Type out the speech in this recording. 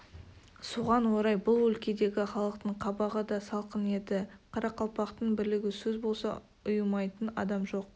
соған орай бұл өлкедегі халықтың қабағы да салқын еді қарақалпақтың бірлігі сөз болса ұйымайтын адам жоқ